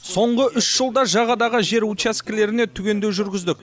соңғы үш жылда жағадағы жер учаскелеріне түгендеу жүргіздік